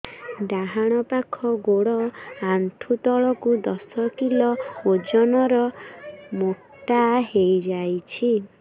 ଡାହାଣ ପାଖ ଗୋଡ଼ ଆଣ୍ଠୁ ତଳକୁ ଦଶ କିଲ ଓଜନ ର ମୋଟା ହେଇଯାଇଛି